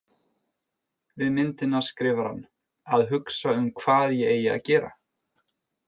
Við myndina skrifar hann: Að hugsa um hvað ég eigi að gera